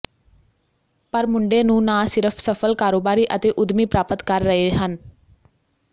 ਪਰ ਮੁੰਡੇ ਨੂੰ ਨਾ ਸਿਰਫ ਸਫਲ ਕਾਰੋਬਾਰੀ ਅਤੇ ਉਦਮੀ ਪ੍ਰਾਪਤ ਕਰ ਰਹੇ ਹਨ